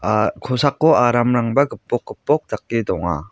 ah kosako aramrangba gipok gipok dake donga.